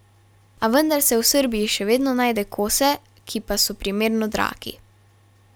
A vendar se v Srbiji še vedno najde kose, ki pa so primerno dragi.